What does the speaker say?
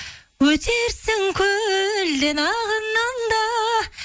өтерсің көлден ағыннан да